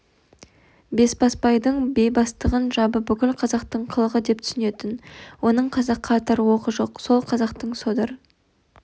бесбасбайдың бейбастақтығын жабы бүкіл қазақтың қылығы деп түсінетін оның қазаққа атар оғы жоқ сол қазақтың содыр